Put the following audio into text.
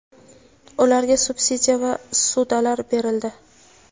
ularga subsidiya va ssudalar berildi.